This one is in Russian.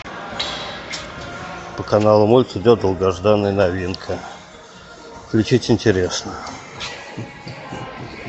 по каналу мульт идет долгожданная новинка включить интересно